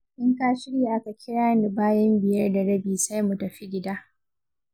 In ka shirya ka kira ni bayan biyar da rabi sai mu tafi gida.